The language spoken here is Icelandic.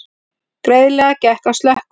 Greiðlega gekk að slökkva